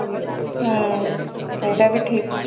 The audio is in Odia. ହୁଁ ଏଇଟା ବି ଠିକ